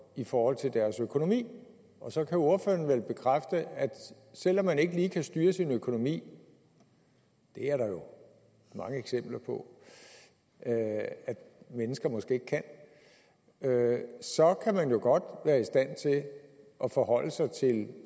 i forhold til deres økonomi og så kan ordføreren vel bekræfte at selv om man ikke lige kan styre sin økonomi det er der jo mange eksempler på at mennesker måske ikke kan så kan man jo godt være i stand til at forholde sig til